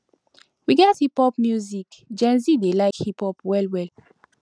we get hip pop music gen z dey like hip pop well well